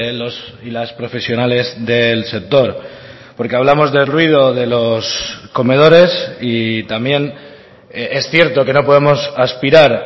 los y las profesionales del sector porque hablamos del ruido de los comedores y también es cierto que no podemos aspirar